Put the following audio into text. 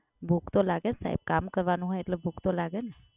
ભૂખ તો લાગે ને સાહેબ? કામ કરવાનું હોય તો ભૂખ તો લાગે ને.